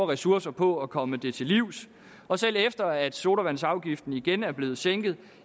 ressourcer på at komme det til livs og selv efter at sodavandsafgiften igen er blevet sænket